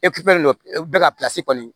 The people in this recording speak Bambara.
dɔ bɛ ka kɔni